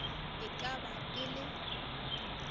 e ka ba e le